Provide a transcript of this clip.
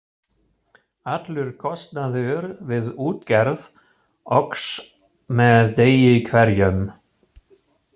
Allur kostnaður við útgerð óx með degi hverjum.